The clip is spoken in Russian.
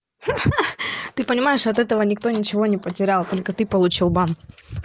ха-ха ты понимаешь от этого никто ничего не потерял только ты получил бан